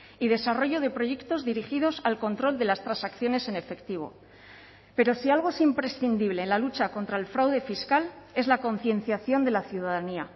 y desarrollo de proyectos dirigidos al control de las transacciones en efectivo pero si algo es imprescindible en la lucha contra el fraude fiscal es la concienciación de la ciudadanía